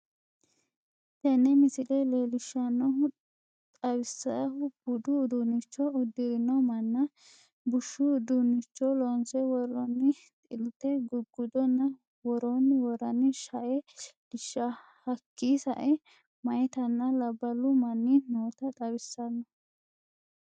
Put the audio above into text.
Tene misile lelishanohuna xawiisahu buddu uddunicho udirrino mannana buushshu uddunicho lonsse worroni xi'litte guuguddonna worroni woorani sha'e lelisha hakki sa'e mayittanna labbalu manni notta xawissanoo